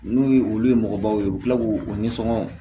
N'u ye olu ye mɔgɔbaw ye u bɛ tila k'u u nisɔngo